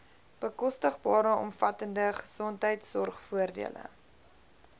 bekostigbare omvattende gesondheidsorgvoordele